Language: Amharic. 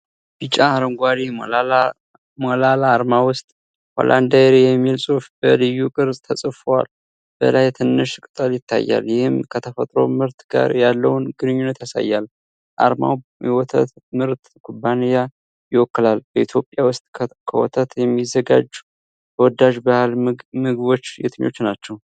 ቢጫ-አረንጓዴ ሞላላ አርማ ውስጥ "Holland dairy" የሚል ጽሑፍ በልዩ ቅርፅ ተጽፏል። በላይ ትንሽ ቅጠል ይታያል፤ ይህም ከተፈጥሮ ምርት ጋር ያለውን ግንኙነት ያሳያል። አርማው የወተት ምርት ኩባንያን ይወክላል። በኢትዮጵያ ውስጥ ከወተት የሚዘጋጁ ተወዳጅ ባህላዊ ምግቦች የትኞቹ ናቸው?